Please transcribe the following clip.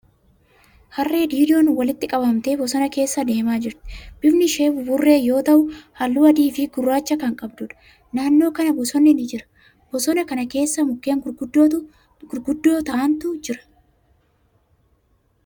Harree diidon walitti qabamtee bosona keessa deemaa jirti. Bifni ishee buburree yoo ta'u, haalluu adii fi gurraacha kan qabduudha. Naannoo kana bosonni ni jira. Bosona kana keessa mukkeen gurguddoo ta'antu jira.